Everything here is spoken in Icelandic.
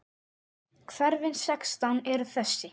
Hverfin sextán eru þessi